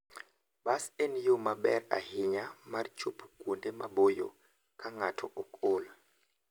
Bas en yo maber ahinya mar chopo kuonde maboyo ka ng'ato ok ol.